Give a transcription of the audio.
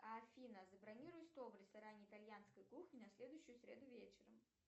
афина забронируй стол в ресторане итальянской кухни на следующую среду вечером